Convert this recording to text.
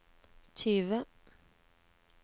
tyve